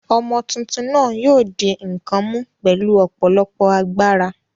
Ọmọ tuntun náà yóò di nǹkan mú pẹ̀lú ọ̀pọ̀lọpọ̀ agbára.